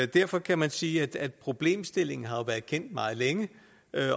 derfor kan man sige at problemstillingen har været kendt meget længe